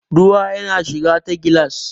ruwa yana shiga ta gilas